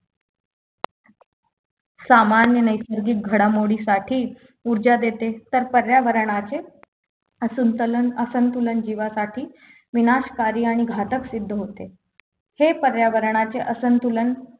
सामान्य नैसर्गिक घडामोडी साठी ऊर्जा देते तर पर्यावरणाचे असंतुलन असंतुलन जीवासाठी विनाशकारी आणि घातक सिद्ध होते हे पर्यावरणाचे असंतुलन